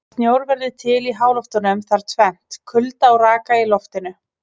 Til að snjór verði til í háloftunum þarf tvennt: Kulda og raka í loftinu.